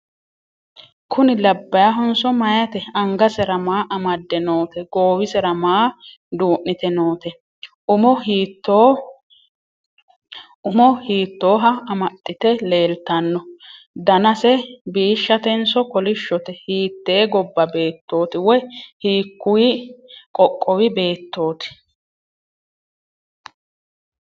kuni labbahonso meyaate? angasera maa amadde noote goowisera maa duu'nite noote? umo hiittoha amaxxite leeltanno? danase biishshatenso kolishshote? hittee gobba beettoti? woy hiikkuyi qoqqowi beettoti?